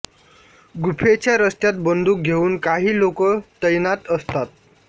गुफेच्या रस्त्यात बंदुक घेऊन काही लोक तैनात असतात